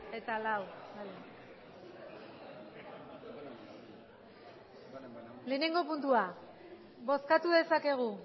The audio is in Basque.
eta lau bale lehenengo puntua bozkatu dezakegu